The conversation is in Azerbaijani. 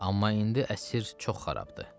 Amma indi əsr çox xarabdır.